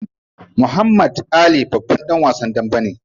Muhammad Ali babban dan wasan dambe ne.